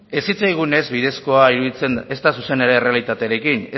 ez zitzaigunez ez bidezkoa iruditzen ezta zuzena ere errealitatearekin